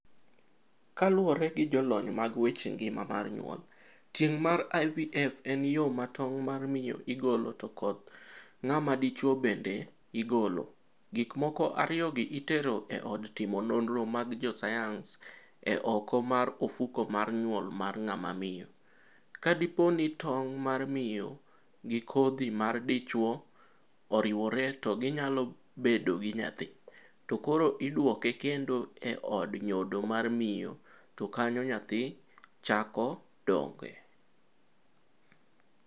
Kaluore gi jolony mag weche ngima mar nyuol, tieng' mar IVF en yo mar tong' mar miyo igolo to koth ng'ama dichuo bende igolo- gik moko ariyogi itero gi e od timo nonro mag jo sayans e oko mar ofuko mar nyuol mar ng'ama miyo. kadipo ni tong' mar miyo gi kodhi mar dichuo oriwore to gi nyalo bedo gi nyathi. to koro idwoke kendo e od nyodo mar miyo to kanyo nyathi chako dongoe.